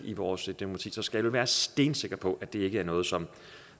i vores demokrati så vi skal være stensikre på at det ikke er noget som